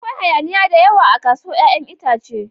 Akwai hayaniya da yawa a kasuwar 'ya'yan itace.